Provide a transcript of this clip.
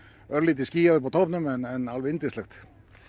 örlítið skýjað uppi á toppnum en alveg yndislegt